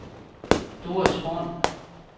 Doris Horn